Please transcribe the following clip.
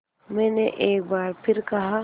मैंने एक बार फिर कहा